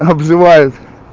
обзывают